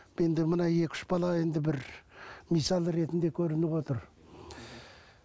енді мына екі үш бала енді бір мысалы ретінде көрініп отыр